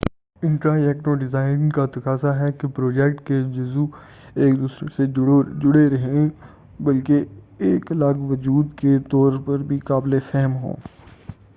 interactive design کا تقاضا ہے کہ پروجیکٹ کے جزوء ایک دوسرے سے جڑے رہیں بلکہ ایک الگ وجود کے طور پر بھی قابل فہم ہوں